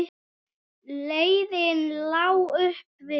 Leiðin lá upp á við.